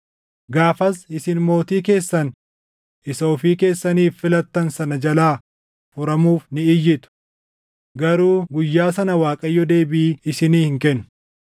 Gaafas isin mootii keessan isa ofii keessaniif filattan sana jalaa furamuuf ni iyyitu; garuu guyyaa sana Waaqayyo deebii isinii hin kennu.”